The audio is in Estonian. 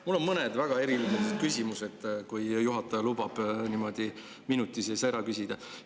Mul on mõned väga erinevad küsimused, kui juhataja lubab minuti sees ära küsida.